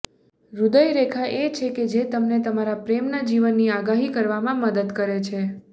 હ્રદય રેખા એ છે કે જે તમને તમારા પ્રેમના જીવનની આગાહી કરવામાં મદદ કરે છે